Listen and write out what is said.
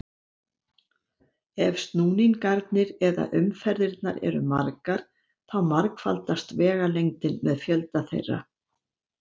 Ef snúningarnir eða umferðirnar eru margar þá margfaldast vegalengdin með fjölda þeirra.